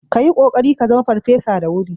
Ka yi kokari ka zama farfesa da wuri